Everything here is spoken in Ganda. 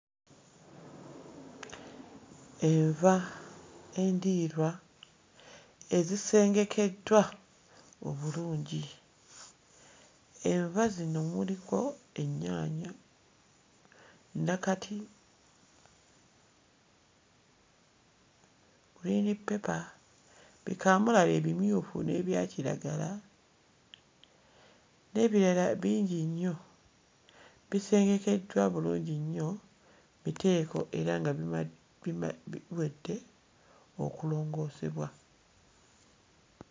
Enva endiirwa ezisengekeddwa obulungi; enva zino muliko ennyaanya nakati, green paper, bikamulali ebimyufu n'ebyakiragala n'ebirala bingi nnyo bisengekeddwa bulungi nnyo mu miteeko era nga bima biwedde okulongoosebwa.